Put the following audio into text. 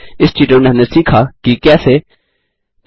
इस ट्यूटोरियल में हमने सीखा कि कैसे 1